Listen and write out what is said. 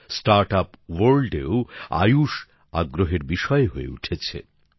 start আপসের দুনিয়াতেও আয়ুষ আগ্রহের বিষয় হয়ে উঠেছে